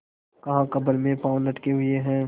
कहाकब्र में पाँव लटके हुए हैं